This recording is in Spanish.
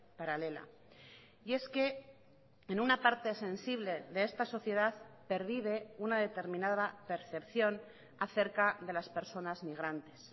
paralela y es que en una parte sensible de esta sociedad pervive una determinada percepción acerca de las personas migrantes